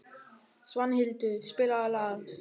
Svanhildur, spilaðu lag.